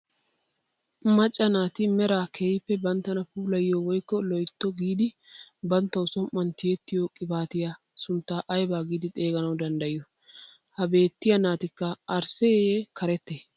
Macca naati meraa kehippe banttana puulayo woykko loytto giidi bantta som"uwaan tiyettiyoo qibaatiyaa sunttaa aybaa giidi xeeganawu danddayiyoo? ha beettiyaa natikka arssee karettee?